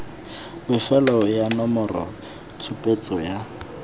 bofelo ya nomoro tshupetso ya